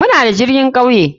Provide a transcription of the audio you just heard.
Muna da matuka jirgin kauye.